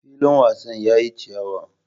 Filin wasan yayi chiyawa.